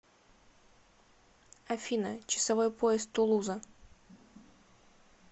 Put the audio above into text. афина часовой пояс тулуза